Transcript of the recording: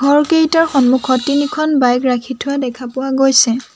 ঘৰ কেইটাৰ সন্মুখত তিনিখন বাইক ৰাখি থোৱা দেখা পোৱা গৈছে।